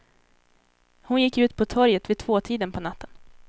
Hon gick ut på torget vid tvåtiden på natten.